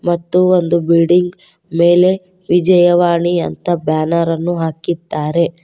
ಮತ್ತು ಒಂದು ಬಿಲ್ಡಿಂಗ್ ಮೇಲೆ ವಿಜಯವಾಣಿ ಅಂತ ಬ್ಯಾನರ್ ಅನ್ನು ಹಾಕಿದ್ದಾರೆ.